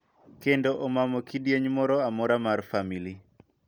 Kendo omamo kidieny moro amora mar famili .